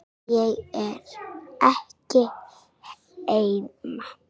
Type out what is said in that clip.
Ég er ekki heima